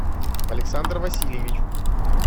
александр васильевич